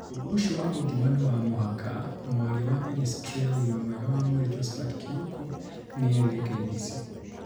Ũndũ ũcio wa gũthima niwa mũhaka,'mwaria wa ministry ya ugima mwega wa mwĩrĩ Josphat Kĩoko nĩ erire KBC